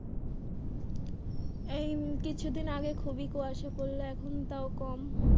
এই উম কিছুদিন আগে খুবই কুয়াশা পড়লো এখন তাও কম।